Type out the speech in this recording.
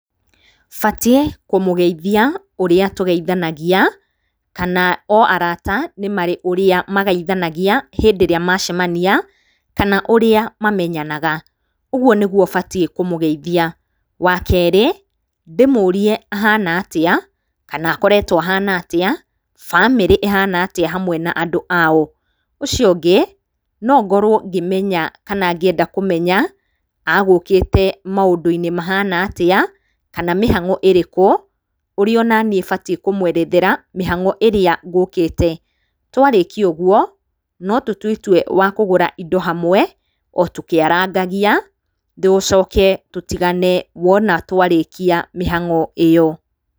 Batiĩ kũmũgeithia ũrĩa tũgeithanagia, kana o arata nĩ marĩ ũrĩa magaithanagia hĩndĩ ĩrĩa macemania, kana ũrĩa mamenyanaga, ũguo nĩguo batiĩ kũmũgethia, wa kerĩ, ndĩmũrie ahana atĩa, kana akoretwo ahana atĩa, bamĩrĩ ĩhana atĩa, hamwe na andũ ao, ũcio ũngĩ, nongorwo ngĩmenya, kana ngĩenda kũmenya, agũkĩte maũndũ-inĩ mahana atĩa, kana mĩhango ĩrĩkũ, ũrĩa onaniĩ batiĩ kũmwerethera mĩhango ĩrĩa ngũkĩte, twarĩkia ũguo, no totue itue rĩa kũgũra indo hamwe, o tukĩarangagia, tũcoke tũtigane wona twarĩkia mĩhango ĩyo.